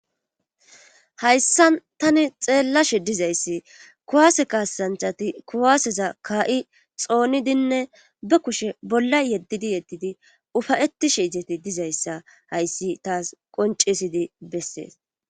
Hayssa tani xeellashe dizayssi kuwaase kaasanchati kuwaaseza kaa'i xoonidinne ba kushe bolla yeddidi yeddidi ufayetishe izeti dizayssa hayssi taas qonccesidi bessees.